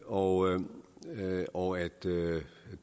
og og at